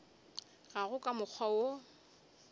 ga go ka mokgwa wo